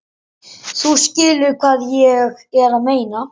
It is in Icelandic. Þú skilur hvað ég meina.